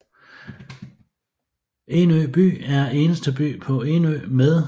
Enø By er eneste by på Enø med